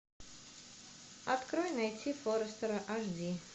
открой найти форрестера аш ди